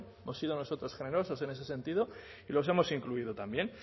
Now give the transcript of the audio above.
hemos sido nosotros generosos en ese sentido y los hemos incluido también